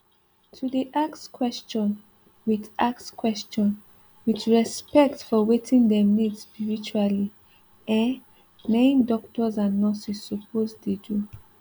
to dey ask question with ask question with respect for wetin dem need spiritually eh na im doctors and nurses suppose dey do